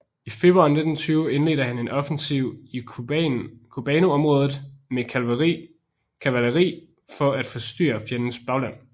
I februar 1920 indledte han en offensiv i Kubanområdet med kavaleri for at forstyrre fjendens bagland